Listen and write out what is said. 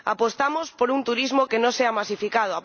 Apostamos por un turismo que no sea masificado.